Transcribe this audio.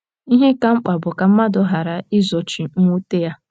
Ihe ka mkpa bụ ka mmadụ ghara izochi mwute ya.